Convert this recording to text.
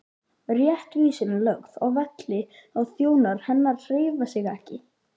Réttvísin lögð að velli og þjónar hennar hreyfa sig ekki!